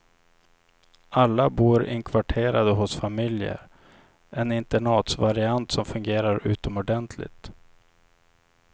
Alla bor inkvarterade hos familjer, en internatsvariant som fungerar utomordentligt.